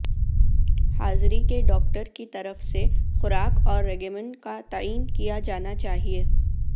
حاضری کے ڈاکٹر کی طرف سے خوراک اور ریگیمن کا تعین کیا جانا چاہئے